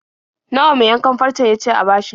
Nawa mai yankan farcen ya ce a bashi?